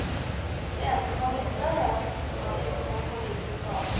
Det eneste man visste, var at den ikke hadde gjort noen påviselig skade.